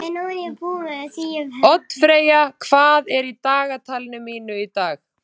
Oddfreyja, hvað er í dagatalinu mínu í dag?